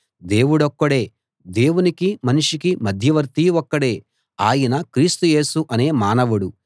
దేవుడొక్కడే దేవునికీ మనిషికీ మధ్యవర్తి ఒక్కడే ఆయన క్రీస్తు యేసు అనే మానవుడు